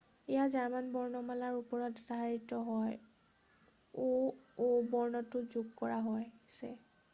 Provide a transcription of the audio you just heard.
"এয়া জৰ্মান বৰ্ণমালাৰ ওপৰত আধাৰিত আৰু "õ/õ" বৰ্ণটো যোগ কৰা হৈছে।""